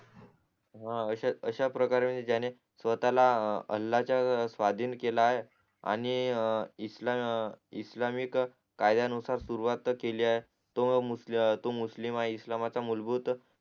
ह अश्या प्रकारे जाणे स्वतःला अल्लाच्या स्वाधिन केल आहे आणि इस्लाम इस्लामिक कार्यानुसार सुरवात केली आहे तो मूस मुस्लिम हा इसलिमाचा मुलभूत